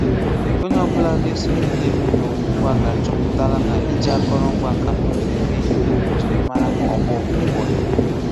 Onye ọ̀bụ̀la na-eso ihe na-eme n’ụwa ụ̀gbụ́a ga-achọpụ̀tàlà na iji àkòrò ngwa nka na ùzù́ eme ihe bụ́ njirimàrà ọgbọ ụ̀gbụ́a.